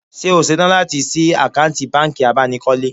Ṣé o ṣetán láti ṣí àkáǹtì bánkì abánikọ́lé?